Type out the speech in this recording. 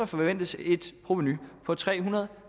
forventes et provenu på tre hundrede og